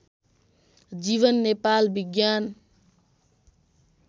जीवन नेपाल विज्ञान